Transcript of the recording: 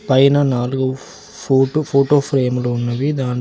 పైన నాలుగు photo photo ఫ్రేములు ఉన్నవి దాంట్లో--